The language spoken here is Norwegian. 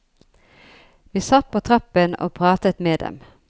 Vi satt på trappen og pratet med dem.